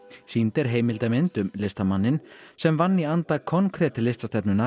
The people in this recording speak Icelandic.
sýnd er heimildamynd um listamanninn sem vann í anda konkret